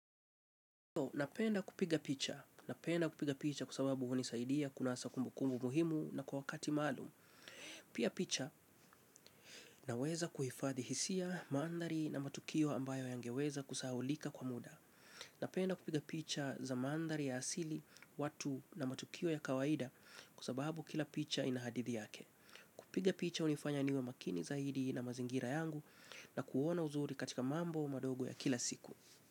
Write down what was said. Napenda kupiga picha. Napenda kupiga picha kuasababu unisaidia kunasa kumbukumbu muhimu na kwa wakati malum. Pia picha naweza kuhifadhi hisia mandari na matukio ambayo yangeweza kusahulika kwa muda. Napenda kupiga picha za mandari ya asili watu na matukio ya kawaida kuasababu kila picha inahadithi yake. Kupiga picha unifanya niwe makini zaidi na mazingira yangu na kuona uzuri katika mambo madogo ya kila siku.